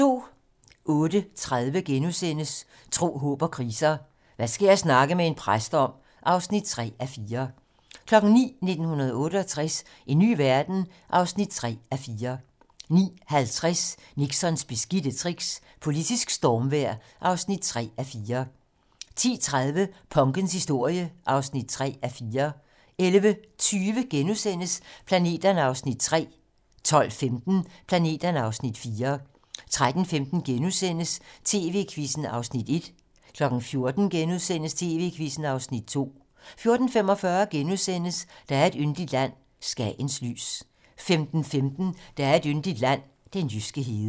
08:30: Tro, håb & kriser: Hvad skal jeg snakke med en præst om? (3:4)* 09:00: 1968 - en ny verden? (3:4) 09:50: Nixons beskidte tricks - politisk stormvejr (3:4) 10:30: Punkens historie (3:4) 11:20: Planeterne (Afs. 3)* 12:15: Planeterne (Afs. 4) 13:15: TV-Quizzen (Afs. 1)* 14:00: TV-Quizzen (Afs. 2)* 14:45: Der er et yndigt land - Skagens lys * 15:15: Der er et yndigt land - den jyske hede